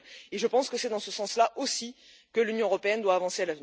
Je pense que c'est dans ce sens là, aussi, que l'Union européenne doit avancer.